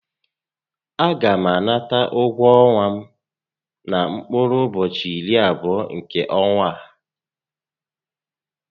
A gá m anata ụgwọ ọnwa m na mkpụrụ ụbọchị irí abụọ nkè ọ́nwá á